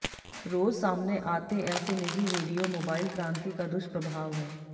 रोज़ सामने आते ऐसे निजी वीडियो मोबाइल क्रांति का दुष्प्रभाव है